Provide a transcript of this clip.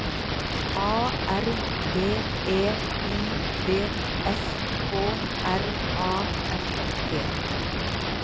A R B E I D S K R A F T